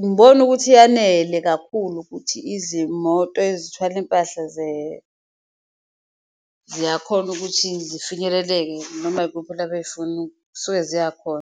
ngibone ukuthi yanele kakhulu ukuthi izimoto ezithwala impahla ziyakhona ukuthi zifinyeleleke noma yikuphi la zisuke ziyakhona.